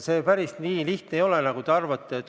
See päris nii lihtne ei ole, nagu te arvate.